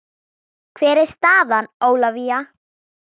Hver er staðan Ólafía?